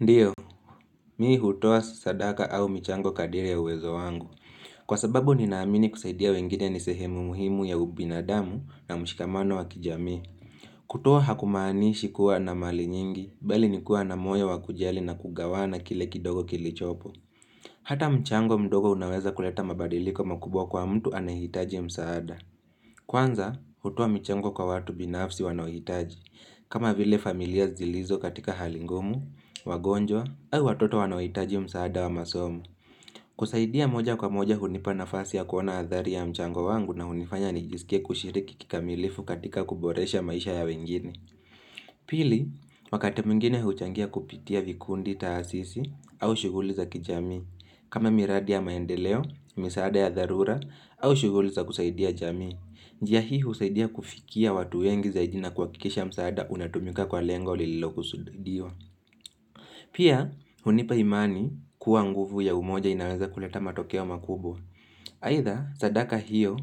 Ndiyo, mimi hutoa sadaka au michango kadiri ya uwezo wangu. Kwa sababu ninaamini kusaidia wengine ni sehemu muhimu ya ubinadamu na mshikamano wa kijamii. Kutuoa hakumaanishi kuwa na mali nyingi, mbali nikuwa na moyo wakujali na kugawana kile kidogo kilichopo. Hata mchango mdogo unaweza kuleta mabadiliko makubwa kwa mtu anahitaji msaada. Kwanza, hutua mchango kwa watu binafsi wanahitaji. Kama vile familia zilizo katika hali ngumu, wagonjwa, au watoto wanaohitaji msaada wa masomo. Kusaidia moja kwa moja hunipana fasi ya kuona athari ya mchango wangu na hunifanya nijisikie kushiriki kikamilifu katika kuboresha maisha ya wengine. Pili, wakati mwingine huchangia kupitia vikundi taasisi au shughuli za kijamii. Kama miradi ya maendeleo, msaada ya dharura au shughuli za kusaidia jamii. Njia hii husaidia kufikia watu wengi zaidi na kwa kihakikisha msaada unatumika kwa lengo lilo kusudiwa. Pia, hunipa imani kuwa nguvu ya umoja inaweza kuleta matokea wa makubwa. Aitha, sadaka hiyo,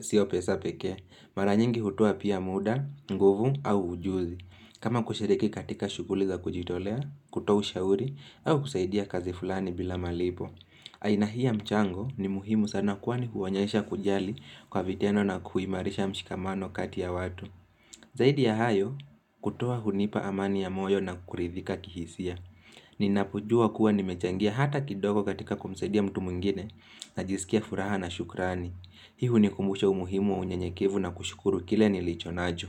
sio pesa pekee, mara nyingi hutoa pia muda, nguvu au ujuzi. Kama kushiriki katika shughuli za kujitolea, kutoa ushauri, au kusaidia kazi fulani bila malipo. Aina hii ya mchango ni muhimu sana kwani huonyesha kujali kwa vitendo na kuimarisha mshikamano kati ya watu Zaidi ya hayo kutoa hunipa amani ya moyo na kukuridhika kihisia Ninapojua kuwa nimechangia hata kidogo katika kumsadia mtu mwingine najisikia furaha na shukrani Hii hunikumbusha umuhimu wa unyenyekevu na kushukuru kile nilicho nacho.